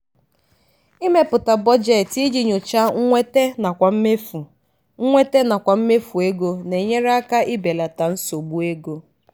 ịmepụta budjeeti iji nyochaa nnwete nakwa mmefu nnwete nakwa mmefu ego na-enyere aka ibelata nsogbu ego.